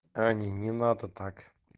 они не надо так